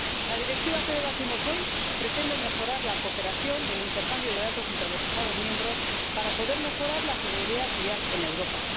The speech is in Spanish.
La Directiva que debatimos hoy pretende mejorar la cooperación y el intercambio de datos entre los Estados miembros para poder mejorar la seguridad vial en Europa.